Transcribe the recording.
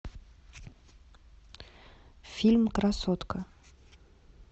фильм красотка